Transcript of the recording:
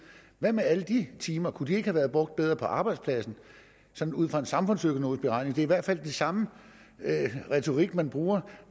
hvad med alle de timer kunne de ikke have været brugt bedre på arbejdspladsen sådan ud fra en samfundsøkonomisk beregning det er i hvert fald den samme retorik man bruger